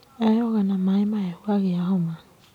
Eyoga na maĩ mahehu agĩa homa.